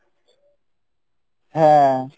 হ্যাঁ